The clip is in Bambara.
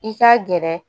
I ka gɛrɛ